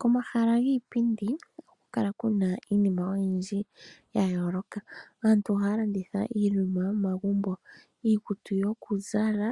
Komahala giipindi ohaku kala iinima oyindji ya yooloka. Aantu ohaya landitha iinima yomomagumbo, iikutu yokuzala,